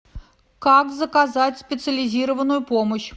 как заказать специализированную помощь